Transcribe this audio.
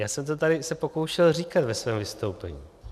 Já jsem se to tady pokoušel říkat ve svém vystoupení.